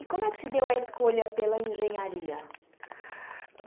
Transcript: E como é que se deu a escolha pela engenharia?